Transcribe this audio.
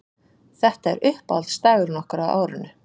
Þetta er uppáhaldsdagurinn okkar á árinu